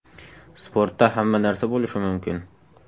Sportda hamma narsa bo‘lishi mumkin.